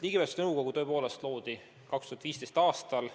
Ligipääsetavuse nõukogu tõepoolest loodi 2015. aastal.